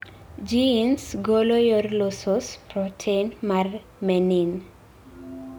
genes golo yor losos protein mar menin